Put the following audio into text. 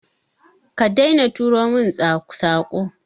Ka daina turo min Sako.